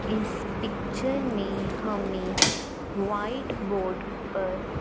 इस पिक्चर में हमें व्हाइट बोर्ड पर--